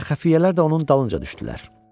Əlbəttə, xəfiyyələr də onun dalınca düşdülər.